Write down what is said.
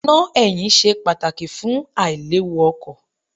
Iná ẹ̀yìn ṣe pàtàkì fún àìléwu ọkọ̀.